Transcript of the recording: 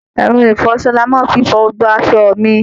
Ẹrọ ìfọṣọ ni màá fi fọ gbogbo asọ mi